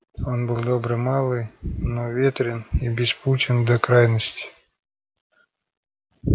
он был добрый малый но ветрен и беспутен до крайности